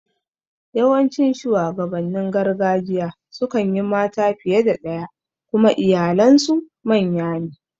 Yawancin shuwagabannin gargajiya sukan yi mata fiye da ɗaya kuma iyalen su manya ne